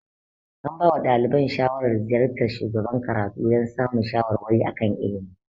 An ba wa ɗaliban shawaran ziyartar shugaban karatu dan samun shawarwari a kan ilimi